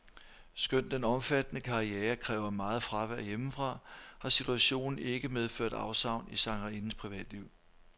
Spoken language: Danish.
Skønt den omfattende karriere kræver meget fravær hjemmefra, har situationen ikke medført afsavn i sangerindens privatliv.